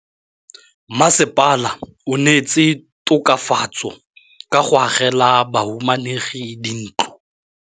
Mmasepala o neetse tokafatsô ka go agela bahumanegi dintlo.